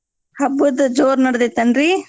ಹ‌ಬ್ಬದ್ದು ಜೋರ್ ನಡ್ದೈತೇನ್ರೀ ನಡ್ದೈತ್ರಿ?